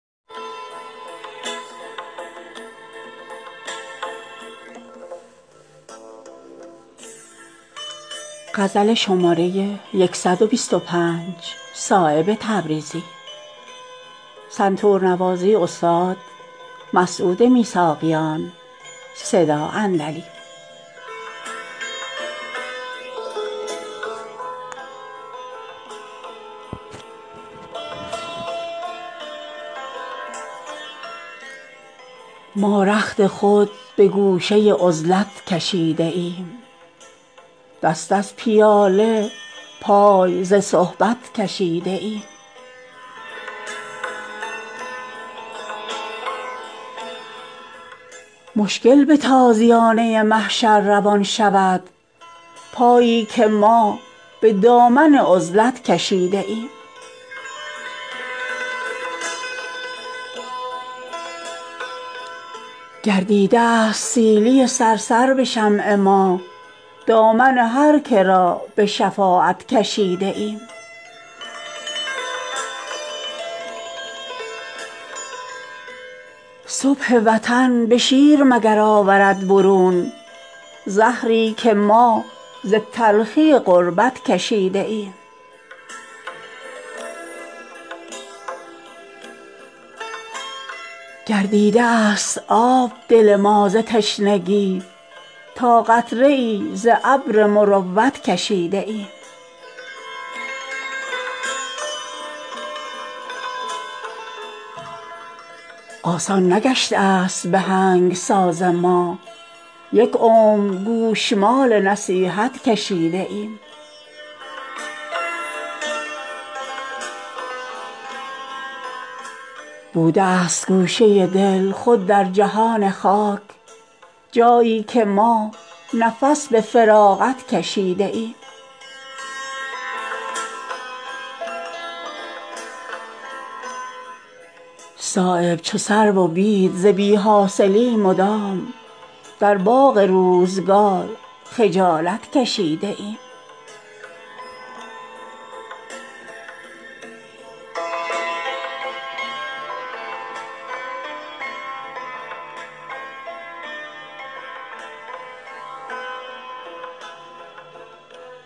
ما رخت خود به گوشه عزلت کشیده ایم دست از پیاله پای ز صحبت کشیده ایم مشکل به تازیانه محشر روان شود پایی که ما به دامن عزلت کشیده ایم خون در دل نعیم بهشت برین کند میلی که ما به دیده رغبت کشیده ایم در دانه خوشه ای شده هر خوشه خرمنی تا خویش را به ملک قناعت کشیده ایم گام نهنگ ساحل مقصود ما شده است از بس که چار موجه کثرت کشیده ایم گشته است توتیای قلم استخوان ما تا سرمه ای به چشم بصیرت کشیده ایم گردیده است سیلی صرصر به شمع ما دامان هر که را به شفاعت کشیده ایم تا صبح رستخیز به دندان گزیدنی است دستی که ما ز دامن فرصت کشیده ایم صبح وطن به شیر برون آورد مگر زهری که ما ز تلخی غربت کشیده ایم گردیده است آب دل ما ز تشنگی تا قطره ای ز ابر مروت کشیده ایم آسان نگشته است به آهنگ ساز ما یک عمر گوشمال نصیحت کشیده ایم بوده است گوشه دل خود در جهان خاک جایی که ما نفس به فراغت کشیده ایم صایب چو سرو و بید ز بی حاصلی مدام در باغ روزگار خجالت کشیده ایم